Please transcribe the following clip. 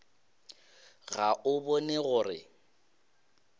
ga o bone gore o